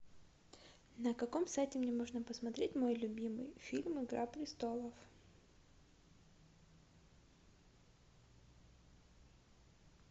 на каком сайте мне можно посмотреть мой любимый фильм игра престолов